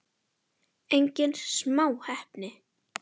Engin smá heppni!